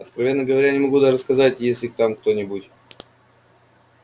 откровенно говоря я не могу даже сказать есть ли там кто-нибудь